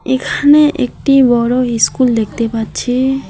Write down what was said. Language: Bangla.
এখানে একটি বড় ইস্কুল দেখতে পাচ্ছি।